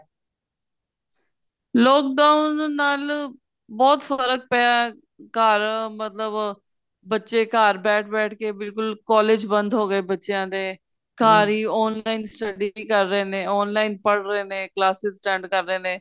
lock down ਨਾਲ ਬਹੁਤ ਫਰਕ ਪਿਆ ਘਰ ਮਤਲਬ ਬੱਚੇ ਘਰ ਬੈਠ ਬੈਠ ਕੇ ਬਿਲਕੁਲ college ਬੰਦ ਹੋ ਗਏ ਬੱਚਿਆਂ ਦੇ ਘਰ ਹੀ online study ਵੀ ਕਰ ਰਹੇ ਨੇ online ਪੜ੍ਹ ਰਹੇ ਨੇ classes attend ਕਰ ਰਹੇ ਨੇ